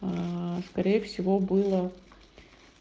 скорее всего было